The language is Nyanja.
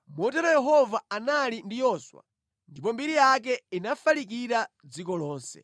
Motero Yehova anali ndi Yoswa, ndipo mbiri yake inafalikira dziko lonse.